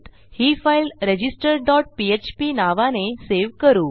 ही file register dot PHP नावाने save करू